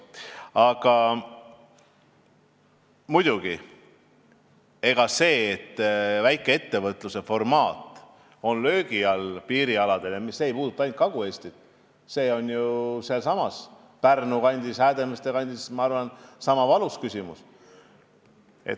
Aga muidugi, see, et väikeettevõtluse formaat on piirialadel löögi all, ei puuduta ainult Kagu-Eestit, see on ju ka Pärnu kandis, Häädemeeste kandis, ma arvan, niisama valus küsimus.